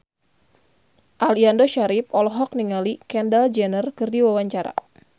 Aliando Syarif olohok ningali Kendall Jenner keur diwawancara